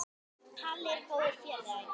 Halli var góður félagi.